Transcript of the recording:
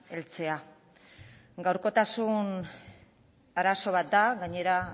heltzea gaurkotasun arazo bat da gainera